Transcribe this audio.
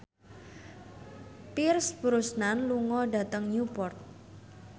Pierce Brosnan lunga dhateng Newport